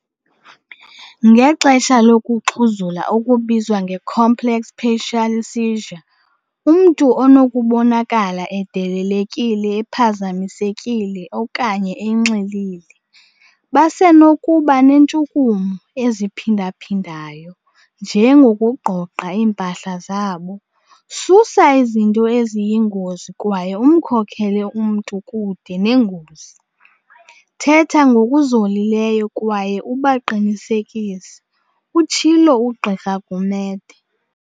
Ngexesha lokuxhuzula okubizwa nge-complex partial seizure, umntu unokubonakala edidekile, ephazamisekile okanye enxilile. Basenokuba neentshukumo eziphindaphindayo, njengokugqogqa iimpahla zabo. "Susa izinto eziyingozi kwaye umkhokhele umntu kude nengozi. Thetha ngokuzolileyo kwaye ubaqinisekise," utshilo uGqr Gumede.